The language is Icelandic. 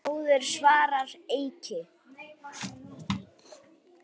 Bróðir, svaraði Eiki.